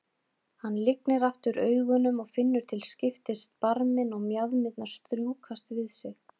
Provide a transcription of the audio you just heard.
Hann lygnir aftur augunum og finnur til skiptis barminn og mjaðmirnar strjúkast við sig.